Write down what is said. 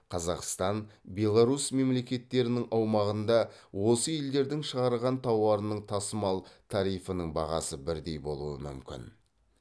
қазақстан беларусь мемлекеттерінің аумағында осы елдердің шығарған тауарының тасымал тарифінің бағасы бірдей болуы мүмкін